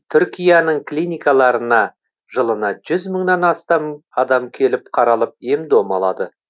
түркияның клиникаларына жылына жүз мыңнан астам адам келіп қаралып ем дом алады